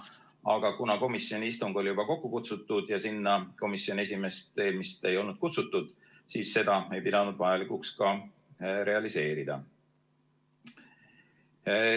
Aga kuna komisjoni istung oli juba kokku kutsutud ja sinna komisjoni esimeest ei olnud kutsutud, siis seda ei peetud vajalikuks ka realiseerida.